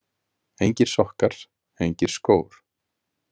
Engir sokkar, engir skór.